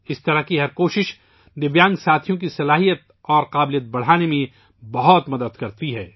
اس طرح کی ہر کوشش مختلف طور پر معذور ساتھیوں کی مہارت اور صلاحیت کو بڑھانے میں بہت مدد کرتی ہے